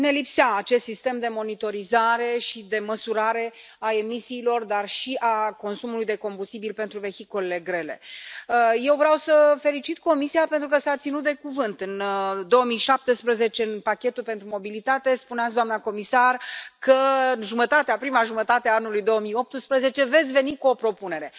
Domnule președinte, doamna comisar, stimați colegi, sigur, ne lipsea acest sistem de monitorizare și de măsurare a emisiilor, dar și a consumului de combustibil pentru vehiculele grele. Eu vreau să felicit Comisia pentru că s a ținut de cuvânt. În 2017 în pachetul pentru mobilitate spuneați, doamna comisar, că în prima jumătate a anului 2018 veți veni cu o propunere.